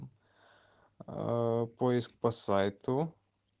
поиск по сайту